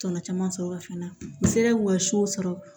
Tɔnɔ caman sɔrɔ fana n'i sera k'u ka sɔrɔ